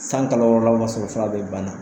Sanni kalo wɔɔrɔla o b'a sɔrɔ fura bɛɛ banna.